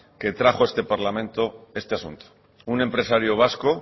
que trajo a este parlamento este asunto un empresario vasco